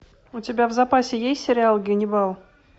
у тебя в запасе есть сериал ганнибал